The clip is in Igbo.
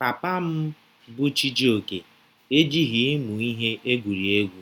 Papa m, bụ́ Chijioke, ejighị ịmụ ihe egwuri egwu,